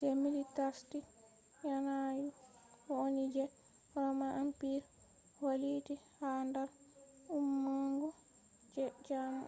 je millitarstic yanayu woni je roman empire valliti ha dar ummungo je jamo